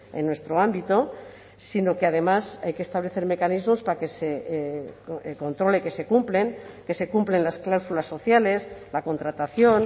en nuestro ámbito sino que además hay que establecer mecanismos para que se controle que se cumplen que se cumplen las cláusulas sociales la contratación